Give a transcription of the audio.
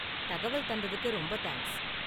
தகவல் தந்ததுக்கு ரொம்ப தேங்க்ஸ்.